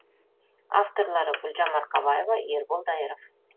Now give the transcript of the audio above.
авторлары гүлжан марқабаева ербол дайыров